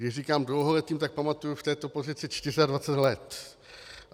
Když říkám dlouholetým, tak pamatuji v této pozici 24 let.